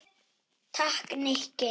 Takk, Nikki